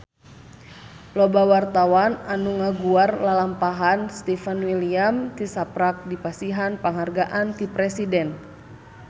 Loba wartawan anu ngaguar lalampahan Stefan William tisaprak dipasihan panghargaan ti Presiden